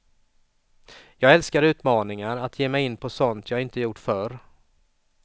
Jag älskar utmaningar, att ge mig in på sådant jag inte gjort förr.